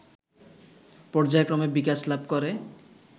পর্যায়ক্রমে বিকাশ লাভ করে